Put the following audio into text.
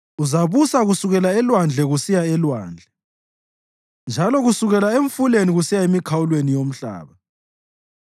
Uzabusa kusukela elwandle kusiya elwandle, njalo kusukela eMfuleni kusiya emikhawulweni yomhlaba.